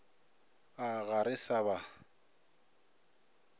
a ga re sa ba